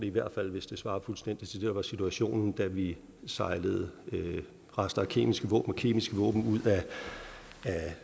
i hvert fald hvis det svarer fuldstændig til det der var situationen da vi sejlede rester af kemiske våben og kemiske våben ud af